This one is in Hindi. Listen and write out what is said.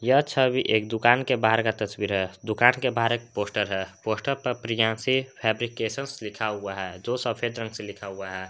यह छबि एक दुकान के बाहर का तस्वीर है दुकान के बाहर एक पोस्टर है पोस्टर पर प्रियांशी फेब्रीकेशन लिखा हुआ है जो सफेद रंग से लिखा हुआ है।